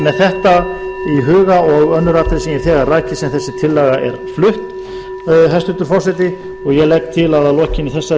þetta í huga og önnur atriði sem ég hef þegar rakið að þessi tillaga er flutt hæstvirtur forseti og ég